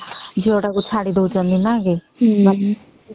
ବାପା ମା ଯହିଁ ତାକୁ ଛାଡି ଦଉଛନ୍ତି କେତେ କଷ୍ଟ